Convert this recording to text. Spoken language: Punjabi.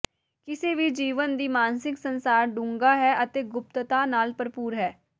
ਕਿਸੇ ਵੀ ਜੀਵਣ ਦੀ ਮਾਨਸਿਕ ਸੰਸਾਰ ਡੂੰਘਾ ਹੈ ਅਤੇ ਗੁਪਤਤਾ ਨਾਲ ਭਰਪੂਰ ਹੈ